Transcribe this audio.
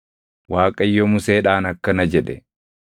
Waaqayyo Museedhaan akkana jedhe: